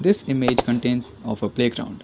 this image contains of a playground.